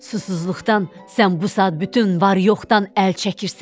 Susuzluqdan sən bu saat bütün var yoxdan əl çəkirsən.